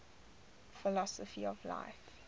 philosophy of life